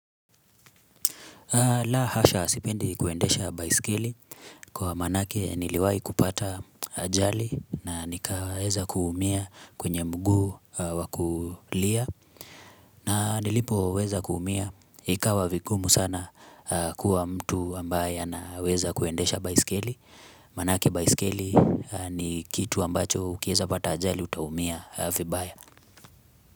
La hasha sipendi kuendesha baisikeli kwa maanake niliwai kupata ajali na nikaweza kuumia kwenye mguu wa kulia na nilipo weza kuumia ikawa vigumu sana kuwa mtu ambaye anaweza kuendesha baisikeli manake baisikeli ni kitu ambacho ukiweza pata ajali utaumia vibaya.